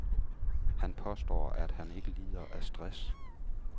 Han påstår, at han ikke lider af stress.